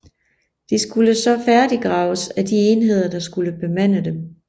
De skulle så færdiggraves af de enheder der skulle bemande dem